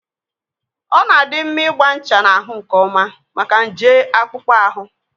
Ọ na-adị mma ịgba ncha n'ahụ nkeọma maka nje akpụkpọ ahụ.